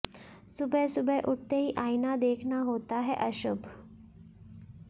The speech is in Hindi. सुबह सुबह उठते ही आइना देखना होता है अशुभ